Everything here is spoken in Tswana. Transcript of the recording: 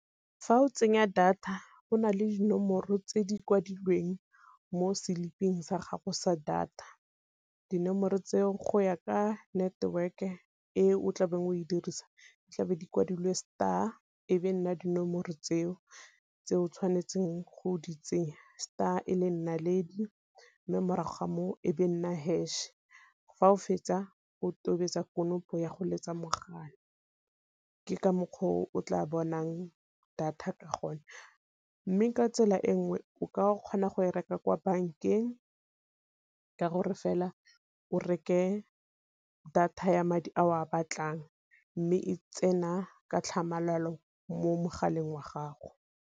Fa o tsenya data go nale dinomoro tse di kwadilweng mo seliping sa gago sa data, dinomoro tseo go ya ka network-e e o tlabeng o e dirisa, tlabe di kwadilwe star e be nna dinomoro tseo tse o tshwanetseng go di tsenya. Star e le naledi mme morago ga moo e be nna hash, fa o fetsa o tobetsa konopo ya go letsa mogala. Ke ka mokgwa o tla bonang data ka gonne. Mme ka tsela e nngwe o ka kgona go e reka kwa bankeng ka gore fela o reke data ya madi a o a batlang, mme e tsena ka tlhamalalo mo mogaleng wa gago.